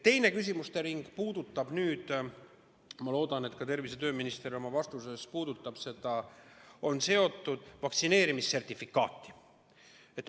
Teine küsimuste ring on seotud – ma loodan, et tervise- ja tööminister oma vastuses puudutab ka seda –vaktsineerimissertifikaadiga.